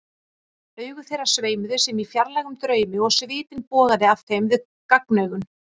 Augu þeirra sveimuðu sem í fjarlægum draumi og svitinn bogaði af þeim við gagnaugun.